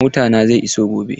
Motana zai iso gobe.